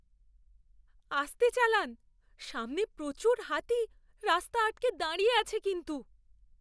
আস্তে চালান। সামনে প্রচুর হাতি রাস্তা আটকে দাঁড়িয়ে আছে কিন্তু।